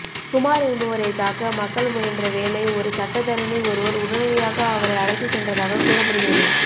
குமார் என்பவரை தாக்க மக்கள் முயன்ற வேளை ஒரு சட்டத்தரணி ஒருவர் உடனடியாக அவரை அழைத்து சென்றதாக கூறப்படுகிறது